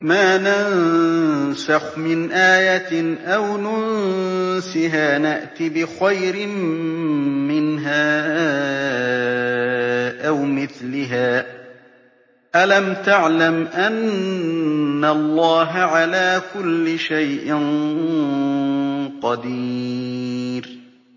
۞ مَا نَنسَخْ مِنْ آيَةٍ أَوْ نُنسِهَا نَأْتِ بِخَيْرٍ مِّنْهَا أَوْ مِثْلِهَا ۗ أَلَمْ تَعْلَمْ أَنَّ اللَّهَ عَلَىٰ كُلِّ شَيْءٍ قَدِيرٌ